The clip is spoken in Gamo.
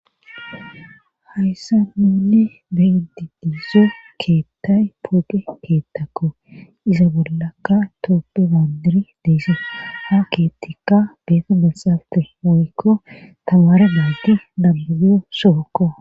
Hayssa ninne beyidi diize keettay poge keettakko iza bollakka tooppe baandiri deesa ha keettikka beeta besaalte oykko tamare naati dambubiyo sookko.